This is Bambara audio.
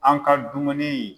An ka dumuni.